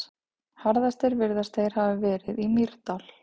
Harðastir virðast þeir hafa verið í Mýrdal.